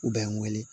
U bɛ n wele